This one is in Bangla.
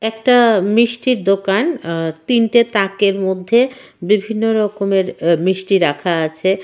একটা মিষ্টির দোকান আ তিনটে তাকের মধ্যে বিভিন্ন রকমের মিষ্টি রাখা আছে.